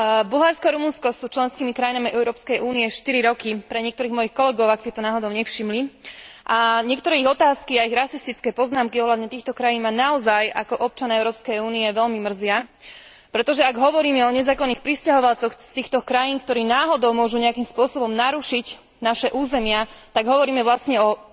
Bulharsko a Rumunsko sú členskými krajinami Európskej únie 4 roky, pre niektorých mojich kolegov, ak si to náhodou nevšimli, a niektoré ich otázky a ich rasistické poznámky ohľadne týchto krajín ma naozaj ako občana Európskej únie veľmi mrzia, pretože ak hovoríme o nezákonných prisťahovalcoch z týchto krajín, ktorí náhodou môžu nejakým spôsobom narušiť naše územia, tak hovoríme vlastne o